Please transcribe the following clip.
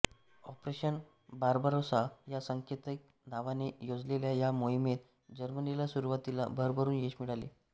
operation Barbarossa या सांकेतिक नावाने योजलेल्या या मोहिमेत जर्मनीला सुरुवातीला भरभरुन यश मिळाले